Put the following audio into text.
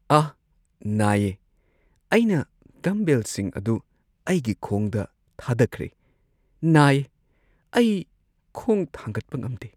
ꯑꯥꯍ! ꯅꯥꯏꯌꯦ꯫ ꯑꯩꯅ ꯗꯝꯕꯦꯜꯁꯤꯡ ꯑꯗꯨ ꯑꯩꯒꯤ ꯈꯣꯡꯗ ꯊꯥꯗꯈ꯭ꯔꯦ, ꯅꯥꯏꯌꯦ꯫ ꯑꯩ ꯈꯣꯡ ꯊꯥꯡꯒꯠꯄ ꯉꯝꯗꯦ꯫